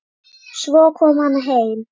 Svo kom hann heim.